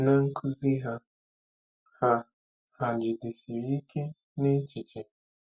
Na nkuzi ha, hà hà jidesiri ike n'echiche?